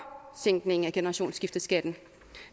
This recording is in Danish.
sænkningen af generationsskifteskatten